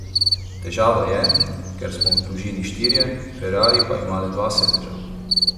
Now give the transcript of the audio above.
Težava je, ker smo v družini štirje, ferrari pa ima le dva sedeža.